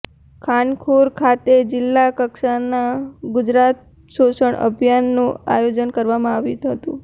ખાનપુર ખાતે જિલ્લા કક્ષાના ગુજરાત પોષણ અભિયાનનું આયોજન કરવામાં આવ્યું હતુ